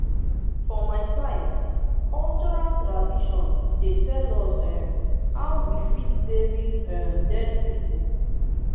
for my side cultural tradition dey tell us um how we fit take bury um dead pipo